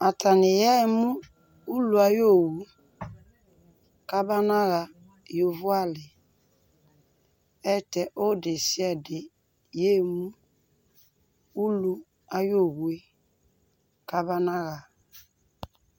atani yɛmʋ ʋlʋ ayiɔwʋ kaba naha yɔvɔ ali, ɛtɛ ɔdɛsiadɛ yɛmʋ ʋlʋ ayi ɔwʋɛ kaba naha